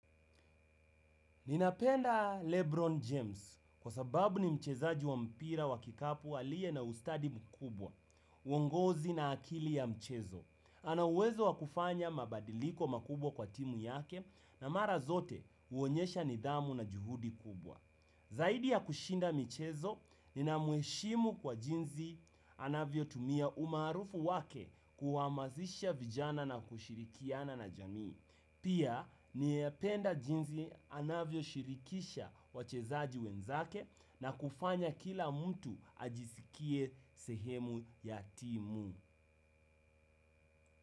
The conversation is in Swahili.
Ninapenda Lebron James, kwa sababu ni mchezaji wa mpira wa kikapu aliye na ustadi mkubwa, uongozi na akili ya mchezo. Ana uwezo wa kufanya mabadiliko makubwa kwa timu yake, na mara zote uonyesha nidhamu na juhudi kubwa. Zaidi ya kushida mchezo, ninamheshimu kwa jinsi anavyotumia umaarufu wake kuwamazisha vijana na kushirikiana na jamii. Pia ninapenda jinsi anavyoshirikisha wachezaji wenzake, na kufanya kila mtu ajisikie sehemu ya timu.